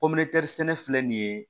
sɛnɛ filɛ nin ye